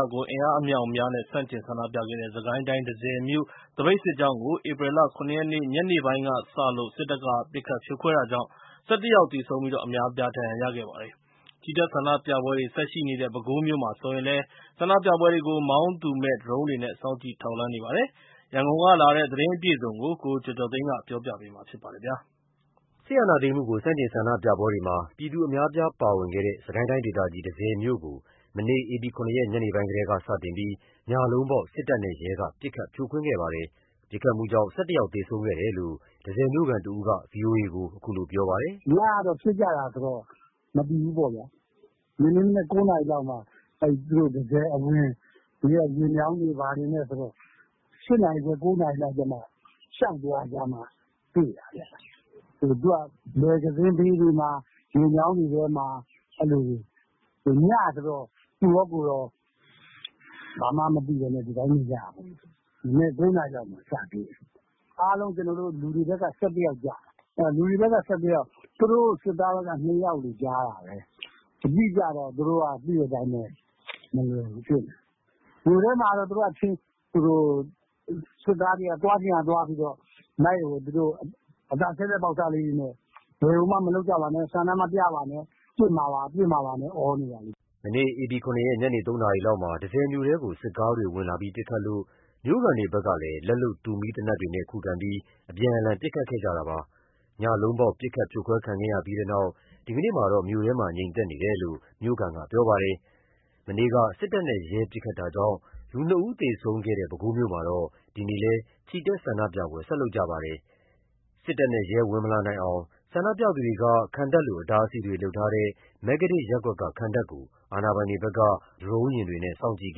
ာကို အင်အားအမြောက်အများနဲ့ ဆန့်ကျင်ဆန္ဒပြခဲ့တဲ့ စစ်ကိုင်းတိုင်း၊ တန့်ဆည်မြို့ သပိတ်စစ်ကြောင်းကို ဧပြီလ ၇ ရက် ညနေပိုင်းကစလို့ စစ်တပ်က ပစ်ခတ် ဖြိုခွဲတာကြောင့် ၁၁ ယောက်သေဆုံးပြီး အများအပြား ဒဏ်ရာရခဲ့ပါတယ်။ ချီတက် ဆန္ဒပြပွဲတွေ ဆက်ရှိနေတဲ့ ပဲခူးမြို့မှာဆိုရင်လည်း ဆန္ဒပြပွဲတွေကို မောင်းသူမဲ့ဒရုန်းတွေနဲ့ စောင့်ကြည့် ထောက်လှမ်းနေပါတယ်။ ရန်ကုန်ကလာတဲ့ သတင်းအပြည့်အစုံကိုကျော်ကျော်သိန်းက ပြောပြပါမယ်။ စစ်အာဏာသိမ်းမှုကို ဆန့်ကျင်ဆန္ဒပြပွဲတွေမှာ ပြည်သူအများအပြားပါဝင်တဲ့ စစ်ကိုင်းဒေသကြီး တန့်ဆည်မြို့ကို မနေ့ ဧပြီ ၇ ရက် ညနေပိုင်းကတည်းက စတင်ပြီး ညလုံးပေါက် စစ်တပ်နဲ့ ရဲကပစ်ခတ်ဖြိုခွင်းခဲ့ပါတယ်။ ပစ်ခတ်မှုကြောင့် ၁၁ ယောက်သေဆုံးခဲ့တယ်လို့ တန့်ဆည်မြို့ခံ တဦးက ဗွီအိုအေကို အခုလိုပြောပါတယ်။ “ညကပစ်ကြတာဆိုတော့ မသိဘူးပေါ့ဗျာ။ ဒီနေ့မနက် ၉ နာရီလောက်မှာ တန့်ဆည်အဝင် ရေမြောင်းတွေဘာတွေနဲ့ ၈ နာရီခွဲ ၉ နာရီလောက်မှ လျောက်သွားကြမှ တွေ့တာခင်ဗျ။ သူတို့က လည်ကန်သင်းဘေးတွေထဲမှာ ရေမြောင်းတွေထဲမှာ ညဆိုတော့ သူကော ကိုယ်ကော ဘာမှမသိဘဲနေကြတာ။ မနက် ၉ နာရီလောက်မှာ စတွေ့တယ်။ အားလုံး လူတွေဘက်က ၁၁ ယောက်ကျတယ်။ လူတွေဘက်က ၁၁ ယောက် သူတို့ စစ်သားဘက်က ၂ ယောက်လို့ကြားတာပဲ။ အတိအကျကတော့ သိတဲ့အတိုင်းပဲ သူတို့ဘက်က မလွယ်ဘူးဖြစ်နေတယ်။ မြို့ထဲမှာတော့ စစ်သားတွေက သွားချင်ရာသွားပြီးတော့ အသံချဲ့စက် ပေါက်စလေးတွေနဲ့ ဘာမှမလုပ်ကြပါနဲ့ ဆန္ဒမပြကြပါနဲ့ ပစ်မှာပါ ပစ်မှာပါနဲ့ အော်နေတာ။” မနေ့ ဧပြီ ၇ ရက် ညနေ ၃ နာရီလောက်မှာ တန့်ဆည်မြို့ထဲကို စစ်ကားတွေဝင်လာပြီး ပစ်ခတ်လို့ မြို့ခံတွေဘက်ကလည်း လက်လုပ်တူမီး သေနတ်တွေနဲ့ ခုခံပြီး အပြန်အလှန် ပစ်ခတ်ခဲ့ကြတာပါ။ ညလုံးပေါက် ပစ်ခတ်ဖြိုခွဲခံခဲ့ရပြီးနောက် ဒီနေ့မှာတော့ မြို့ထဲမှာ ငြိမ်နေတယ်လို့ မြို့ခံကပြောပါတယ်။ မနေ့က စစ်တပ်နဲ့ ရဲက ပစ်ခတ်တာကြောင့် လူ ၂ ဦး သေဆုံးခဲ့တဲ့ ပဲခူးမြို့မှာတော့ ဒီနေ့လည်း ချီတက် ဆန္ဒပြပွဲ ဆက်လုပ်ကြပါတယ်။စစ်တပ်နဲ့ ရဲ ဝင်မလာနိုင်အောင် ဆန္ဒပြသူတွေက ခံတပ်လို အတားအဆီးတွေလုပ်ထားတဲ့ မဂ္ဂတစ်ရပ်ကွက်က ခံတပ်ကို အာဏာပိုင်တွေဖက်က မောင်းသူမဲ့ လေယာဉ်တွေနဲ့ စောင့်ကြည့်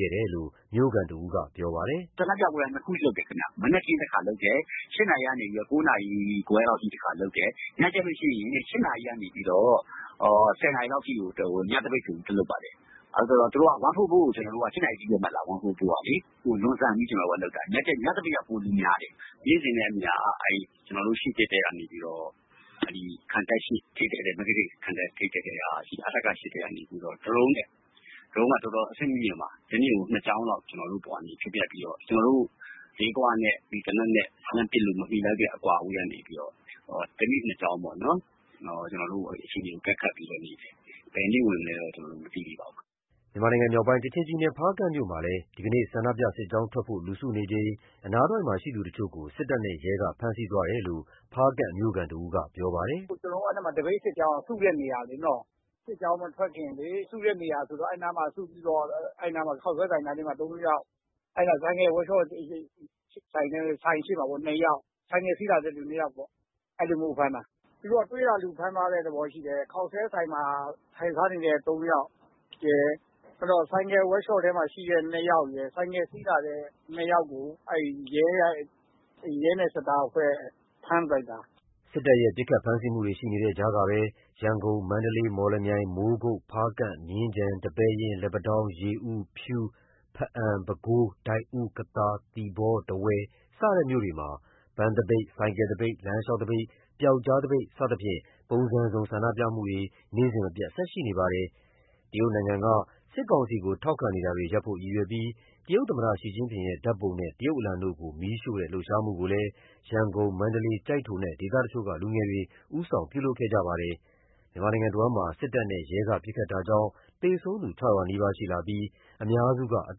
ခဲ့တယ်လို့ မြို့ခံတဦးက ပြောပါတယ်။ “ဆန္ဒပြပွဲက ၂ ခုလုပ်တယ်ခင်ဗျ။ မနက်ခင်းတခါလုပ်တယ် ၈ နာရီခွဲကနေ ၉ နာရီအထိ တခါလုပ်တယ်။ ညကျလို့ရှိရင် ၈ နာရီကနေ ၁၀ နာရီလောက်အထိ ညသပိတ်ဆိုပြီး ထပ်လုပ်ပါတယ်။ ၁၄၄ က ၈ နာရီအထိပဲဆိုတော့ အမိန့်ကို လွန်ဆန်ပြီး ကျနော်တို့လုပ်တာ။ ညသပိတ်က ပိုလူများတယ်။ နေ့စဉ်နဲ့အမျှခံ တပ်ရှေ့တည့်တည့် မဂ္ဂတစ်ခံတပ် ထိပ်တည့်တည့်က အထက ၈ ထဲကနေပြီးတော့ ဒရုန်းနဲ့ ဒရုန်းက တော်တော် အဆင့်မြင့်မြင့်ပါ တနေ့ကို ၂ ကြောင်းလောက် ကျွန်တော်တို့ အပေါ်ကနေ ဖြတ်ဖြတ်ပြီးတော့ ကျွန်တော်တို့ လေးဂွနဲ့လေသေနတ်နဲ့ လှမ်းပစ်လို့ မမှီလောက်တဲ့ အကွာအဝေးကနေပြီးတော့ တနေ့ ၂ ကြောင်းပေါ့ အခြေအနေကို အကဲခတ်နေတယ်။ ဘယ်နေ့ဝင်မလဲတော့ မသိသေးဘူး။” မြန်မာနိုင်ငံမြောက်ပိုင်း ကချင်ပြည်နယ် ဖားကန့်မြို့မှာလည်း ဒီနေ့ ဆန္ဒပြစစ်ကြောင်းထွက်ဖို့ လူစုနေချိန် အနားတဝိုက်မှာရှိသူတချို့ကို စစ်တပ်နဲ့ရဲက ဖမ်းဆီးသွားတယ်လို့ ဖားကန့်မြို့ခံတဦးကပြောပါတယ်။ “ကျွန်တော်တို့ အဲ့မှာ သပိတ်စစ်ကြောင်းပေါ့နော်။ စစ်ကြောင်းမထွက်ခင်လေ စုတဲ့နေရာဆိုတော့ အဲ့နားမှာ စုပြီးတော့ ခေါက်ဆွဲဆိုင်နားမှာ ၃ ယောက် ၄ ယောက် ဆိုင်ကယ်ဝပ်ရှော့ဆိုင် ရှေ့မှာ ၂ ယောက် ဆိုင်ကယ် စီးလာတဲ့သူ ၂ ယောက်ပေါ့။ သူတို့က တွေ့ရာလူဖမ်းသွားတဲ့ သဘောရှိတယ်။ ခေါက်ဆိုင်ထဲမှာ ၃ ယောက် ဆိုင်ကယ် ဝပ်ရှော့ထဲမှာ ၂ ယောက် ဆိုင်ကယ်စီးလာတဲ့သူ ၂ ယောက်ရယ်ကို ရဲနဲ့စစ်သားနဲ့က ဖမ်းလိုက်တာ။” စစ်တပ်ရဲ့ ပစ်ခတ် ဖမ်းဆီးမှုတွေရှိနေတဲ့ကြားကပဲ ရန်ကုန်၊ မန္တလေး၊ မော်လမြိုင်၊ မိုးကုတ်၊ ဖားကန့်၊ မြင်းခြံ၊ ဒီပဲယင်း၊ လက်ပံတောင်း၊ ရေဦး၊ ဖြူး၊ ဘားအံ၊ ပဲခူး၊ ဒိုက်ဦး၊ ကသာ၊ သီပေါ၊ ထားဝယ် စတဲ့ မြို့တွေမှာ ပန်းသပိတ်၊ ဆိုင်ကယ်သပိတ်၊ လမ်းလျှောက်သပိတ်၊ ပျောက်ကြားသပိတ် စသဖြင့် ပုံစံစုံ ဆန္ဒပြမှုတွေ နေ့စဉ်မပြတ်ဆက်ရှိနေပါတယ်။ တရုတ်နိုင်ငံက စစ်ကောင်စီကို ထောက်ခံနေတာတွေရပ်ဖို့ရည်ရွယ်ပြီး တရုတ်သမ္မတ ရှီ ကျင့်ပင်ရဲ့ဓာတ်ပုံနဲ့ တရုတ်အလံတို့ကို မီးရှို့တဲ့ လှုပ်ရှားမှုကိုလည်း ရန်ကုန်၊ မန္တလေး၊ ကျိုက်ထိုနဲ့ ဒေသတချို့ကလူငယ်တွေဦးဆောင်ပြုလုပ်ကြပါတယ်။ မြန်မာနိုင်ငံတဝန်း စစ်တပ်နဲ့ ရဲတပ်ဖွဲ့က ပစ်ခတ်တာကြောင့် သေဆုံးသူ ၆၀၀ နီးပါးရှိလာပြီး အများစုဟာ အ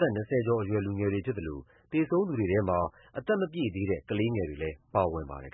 သက် ၂၀ ကျော်အရွယ် လူငယ်တွေဖြစ်သလို သေဆုံးသူတွေထဲမှာ အသက်မပြည့်သေးတဲ့ ကလေးငယ်တွေလည်းပါဝင်ပါတယ်